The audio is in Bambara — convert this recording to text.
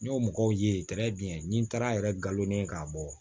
N y'o mɔgɔw ye ni n taara yɛrɛ nkalon ne k'a bɔ